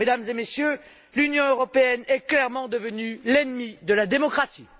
Mesdames et Messieurs, l'Union européenne est clairement devenue l'ennemi de la démocratie.